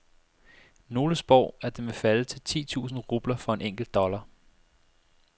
Nogle spår, at den vil falde til ti tusind rubler for en enkelt dollar.